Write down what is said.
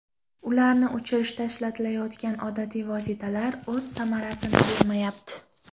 Ularni o‘chirishda ishlatilayotgan odatiy vositalar o‘z samarasini bermayapti.